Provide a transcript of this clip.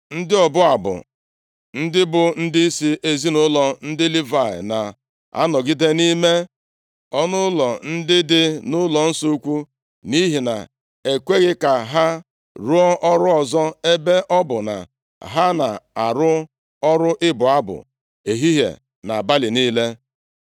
Ndị ọbụ abụ, ndị bụ ndịisi ezinaụlọ ndị Livayị na-anọgide nʼime ọnụụlọ ndị dị nʼụlọnsọ ukwu nʼihi na e kweghị ka ha rụọ ọrụ ọzọ ebe ọ bụ na ha na-arụ ọrụ ịbụ abụ ehihie na abalị niile.